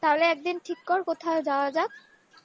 তাহলে একদিন ঠিক কর কোথায় যাওয়া যাক